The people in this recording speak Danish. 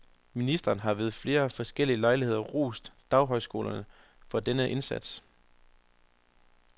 Ministeren har ved flere forskellige lejligheder rost daghøjskolerne for denne indsats.